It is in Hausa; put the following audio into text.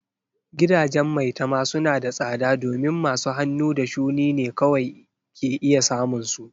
Gidajen maitama suna da tsada domin masu hannu da shuni ne kawai ke iya samun su.